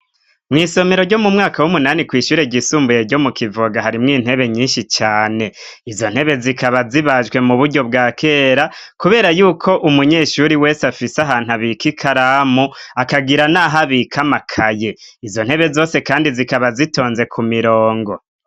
Mw' isomero ryo mu mwaka w'umunani kw'ishure ryisumbuye ryo mu Kivoga, harimwo intebe nyinshi cane izo ntebe zikaba zibajwe mu buryo bwa kera kubera yuko umunyeshuri wese afise ahantu abik ikaramu akagira n'ahabik amakaye. Izo ntebe zose kandi zikaba zitonze ku mirongo.